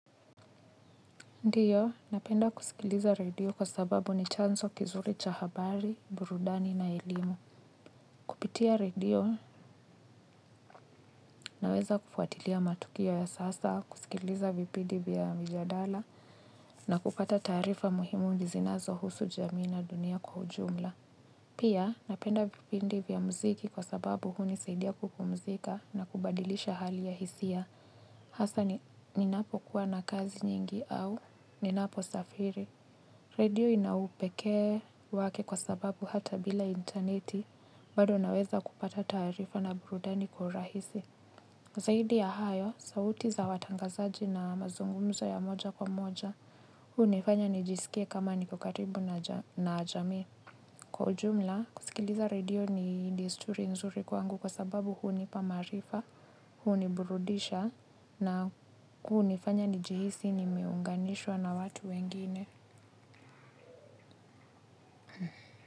Ndiyo, napenda kusikiliza radio kwa sababu ni chanzo kizuri cha habari, burudani na elimu. Kupitia radio, naweza kufuatilia matukio ya sasa, kusikiliza vipindi vya mijadala na kupata taarifa muhimu zinazohusu jamii na dunia kwa ujumla. Pia, napenda vipindi vya mziki kwa sababu hunisaidia kupumzika na kubadilisha hali ya hisia. Hasa ninapo kuwa na kazi nyingi au, ninaposafiri. Radio inaupekee wake kwa sababu hata bila interneti bado naweza kupata taarifa na burudani kwa urahisi. Kwa zaidi ya hayo, sauti za watangazaji na mazungumzo ya moja kwa moja, hunifanya nijisikie kama niko karibu na jamii. Kwa ujumla, kusikiliza radio ni desturi nzuri kwangu kwa sababu hunipa maarifa, huniburudisha na kunifanya nijihisi nimiunganishwa na watu wengine.